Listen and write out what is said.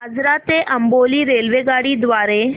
आजरा ते अंबोली रेल्वेगाडी द्वारे